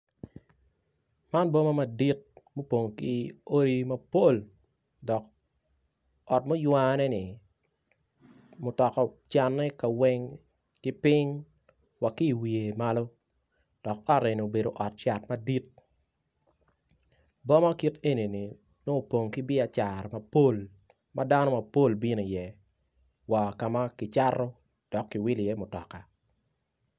Man boma madit ma opong ki odi madit dok ot muywaneni mutoka ocane kaweng ki piny wa ki iwiye malo dok ot eni obedo ot cat madit boma kit eni-ni nongo opong ki biacara mapol ma dano mapol bino i iye wa kama kicato dok kiwilo i iye mutoka